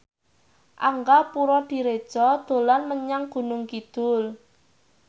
Angga Puradiredja dolan menyang Gunung Kidul